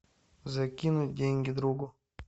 закинуть деньги другу